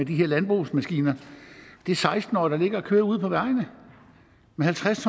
her landbrugsmaskiner det er seksten årige der ligger og kører ude på vejene med halvtreds